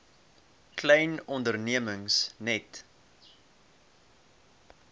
klein ondernemings net